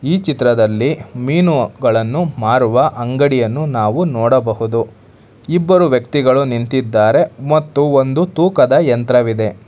ಈ ಚಿತ್ರದಲ್ಲಿ ಮೀನುಗಳನ್ನು ಮಾರುವ ಅಂಗಡಿಯನ್ನು ನಾವು ನೋಡಬಹುದು ಇಬ್ಬರು ವ್ಯಕ್ತಿಗಳು ನಿಂತಿದ್ದಾರೆ ಮತ್ತು ಒಂದು ತೂಕದ ಯಂತ್ರವಿದೆ.